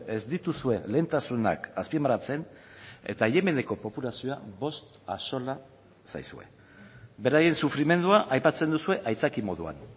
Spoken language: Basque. ez dituzue lehentasunak azpimarratzen eta yemeneko populazioa bost axola zaizue beraien sufrimendua aipatzen duzue aitzaki moduan